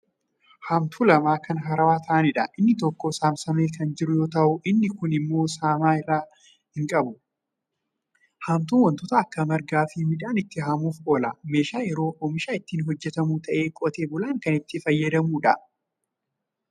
Haamtuu lama Kan haarawa ta'aniidha. inni tokko saamsamee Kan jiru yoo ta'u inni kuun immoo saamnaa hin qabu. haamtuun wantoota akka margaafi midhaanii ittiin haamuuf oola. meeshaa yeroo oomisha ittiin hojjatamu ta'ee; qotee-bulaan kan itti fayyadamuudha.